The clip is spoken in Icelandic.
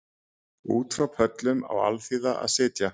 Út frá pöllum á alþýða að sitja